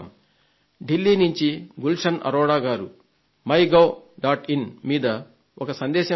ఢిల్లీ నుంచి శ్రీ గుల్షన్ అరోడా గారు MyGov మీద ఒక సందేశాన్ని పంపారు